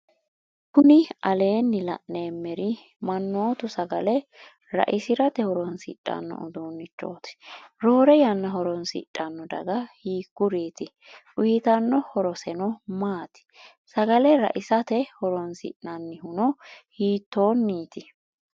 kuni aleenni la'neemeri mannootu sagale raisirate horoonsidhanno uddunnichoti. roore yanna hooroonsidhanno daga hikkuriiti? uyitanno horoseno maati? sagale raisate horoonsi'nannihuno hitooniti?